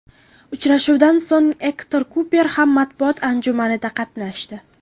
Uchrashuvdan so‘ng Ektor Kuper ham matbuot anjumanida qatnashdi .